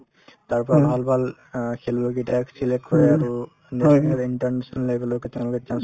তাৰপৰা ভাল ভাল অ খৈলুৱৈ কেইটাক select কৰে আৰু national international level লৈকে তেওঁলোকে chance